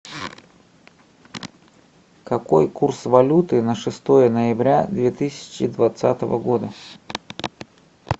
какой курс валюты на шестое ноября две тысячи двадцатого года